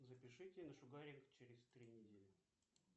запишите на шугаринг через три недели